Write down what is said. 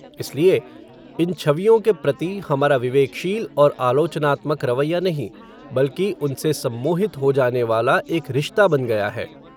इसलिए, इन छवियों के प्रति, हमारा विवेकशील और आलोचनात्मक रवैया नहीं, बल्कि, उनसे सम्मोहित हो जानेवाला, एक रिश्ता बन गया है